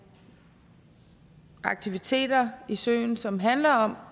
aktiviteter i søen som handler om